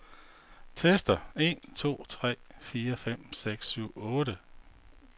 Tester en to tre fire fem seks syv otte.